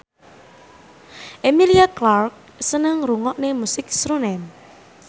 Emilia Clarke seneng ngrungokne musik srunen